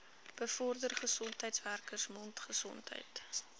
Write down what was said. bevorder gesondheidswerkers mondgesondheid